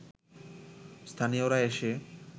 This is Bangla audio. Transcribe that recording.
স্থানীয়রা এসে